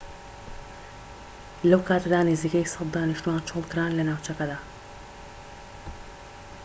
لەو کاتەدا نزیکەی ١٠٠ دانیشتوان چۆڵکران لە ناوچەکەدا